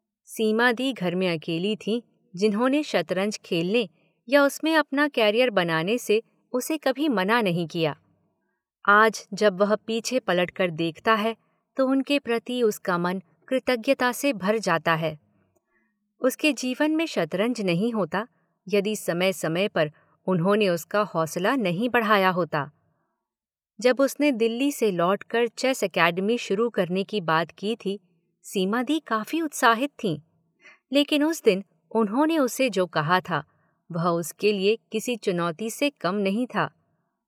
सीमा दी घर में अकेली थी जिन्होंने शतरंज खेलने या उसमें अपना कैरियर बनाने से उसे कभी मना नहीं किया। आज जब वह पीछे पलट कर देखता है तो उनके प्रति उसका मन कृतज्ञता से भर जाता है। उसके जीवन में शतरंज नहीं होता यदि समय समय पर उन्होंने उसका हौसला नहीं बढ़ाया होता। जब उसने दिल्ली से लौट कर चेस एकेडमी शुरू करने की बात की थी, सीमा दी काफी उत्साहित थीं, लेकिन उस दिन उन्होंने उसे जो कहा था वह उसके लिए किसी चुनौती से कम नहीं था।